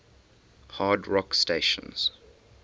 hard rock stations